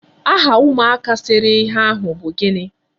Aha ụmụaka sere ihe ahụ bụ gịnị?